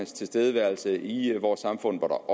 tilstedeværelse i vores samfund hvor der